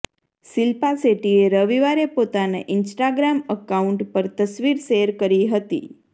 શિલ્પા શેટ્ટીએ રવિવારે પોતાના ઈન્સ્ટાગ્રામ અકાઉન્ટ પર તસવીર શેર કરી હતી